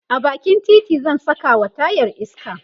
a bakin titi zan Saka wa tayar iska